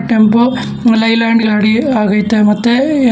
tempo ಮಲೈಲಾಂಡ ಗಾಡಿ ಆಗೈತೆ ಮತ್ತೆ--